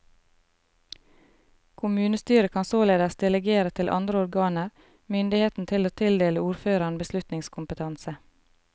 Kommunestyret kan således delegere til andre organer myndigheten til å tildele ordføreren beslutningskompetanse.